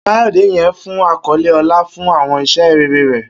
Kayode yẹ fun akọle ọlá fun awọn iṣẹ rere rẹ.